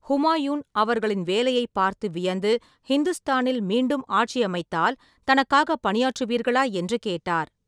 ஹுமாயூன், அவர்களின் வேலையைப் பார்த்து வியந்து, ஹிந்துஸ்தானில் மீண்டும் ஆட்சி அமைத்தால், தனக்காகப் பணியாற்றுவீர்களா என்று கேட்டார்.